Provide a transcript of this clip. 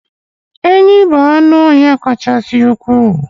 enyí bụ anụ ọhịa kasị ukwuu